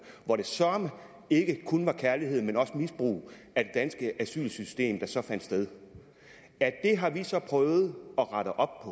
hvor det søreme ikke kun var kærlighed men også misbrug af det danske asylsystem der så fandt sted det har vi så prøvet at rette op